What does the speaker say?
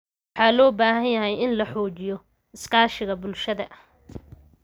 Waxa loo baahan yahay in la xoojiyo iskaashiga bulshada.